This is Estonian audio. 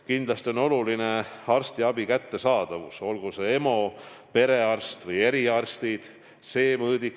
Kindlasti on oluline arstiabi kättesaadavus, olgu see EMO, perearst või eriarstid.